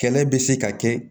Kɛlɛ bɛ se ka kɛ